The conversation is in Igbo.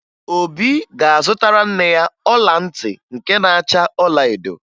Obi ga-azụtara nne ya ọla ntị nke na-acha ọlaedo